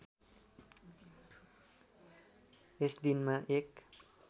यस दिनमा एक